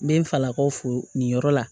N bɛ n falakaw fo nin yɔrɔ la